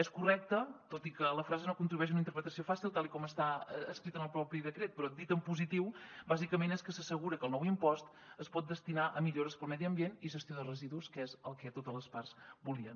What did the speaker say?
és correcte tot i que la frase no contribueix a una interpretació fàcil tal com està escrit en el propi decret però dit en positiu bàsicament és que s’assegura que el nou impost es pot destinar a millores per al medi ambient i gestió de residus que és el que totes les parts volien